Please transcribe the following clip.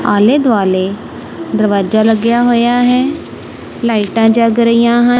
ਆਲੇ ਦੁਆਲੇ ਦਰਵਾਜਾ ਲੱਗਿਆ ਹੋਇਆ ਹੈ ਲਾਈਟਾਂ ਜਗ ਰਹੀਆਂ ਹਨ।